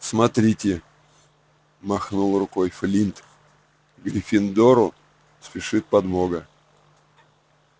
смотрите махнул рукой флинт гриффиндору спешит подмога